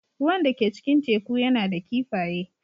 Ruwan da ke cikin teku yana da kifaye.